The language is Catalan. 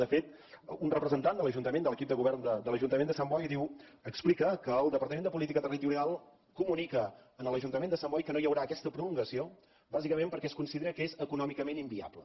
de fet un representant de l’ajuntament de l’equip de govern de l’ajuntament de sant boi diu explica que el departament de política territorial comunica a l’ajuntament de sant boi que no hi haurà aquesta prolongació bàsicament perquè es considera que és econòmicament inviable